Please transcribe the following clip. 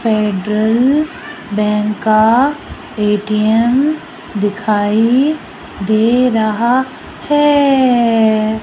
Federal Bank का ATM दिखाई दे रहा है।